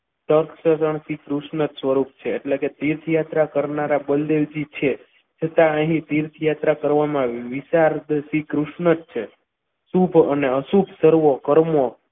સ્વરૂપ છે એટલે કે તીર્થયાત્રા કરનારા બલદેવજી છે છતાં અહીં તીર્થયાત્રા કરવામાં વિચાર તો શ્રીકૃષ્ણ જ છે શુભકર અને અશુભ કરવું કર્મ.